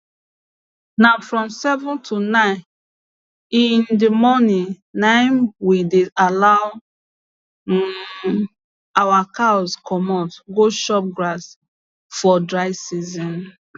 na from seven to nine in d morning na im we dey allow um our cows comot go chop grass for dry season